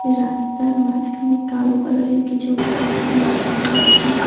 রাস্তার মাঝখানে কালো কালারের কিছু একটা পাখির মত দেখা যাচ্ছে।